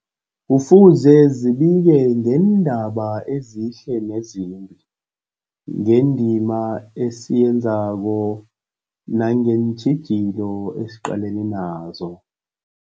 Kufuze zibike ngeendaba ezihle nezimbi, ngendima esiyenzako nangeentjhijilo esiqalene nazo.